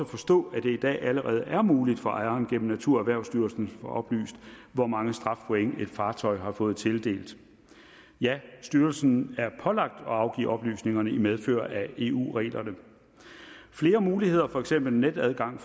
forstå at det allerede er muligt for ejeren gennem naturerhvervsstyrelsen at få oplyst hvor mange strafpoint et fartøj har fået tildelt styrelsen er pålagt at afgive oplysningerne i medfør af eu reglerne flere muligheder for for eksempel netadgang